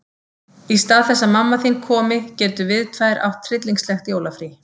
Í stað þess að mamma þín komi getum við tvær átt tryllingslegt jólafrí.